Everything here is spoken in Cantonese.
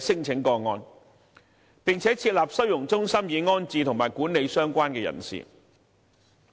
聲請個案，並設立收容中心，安置及管理相關人士。